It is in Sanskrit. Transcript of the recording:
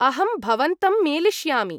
अहं भवन्तं मेलिष्यामि।